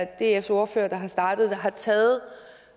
dfs ordfører der har startet det har taget